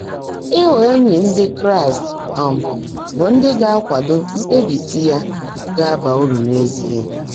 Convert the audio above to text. Ị́ghọ́ éńyí Ndị́ Kráịst um bụ́ ndị́ gá-ákwádó mkpèbísi yá gá-ábá úrụ́ n’ézíe.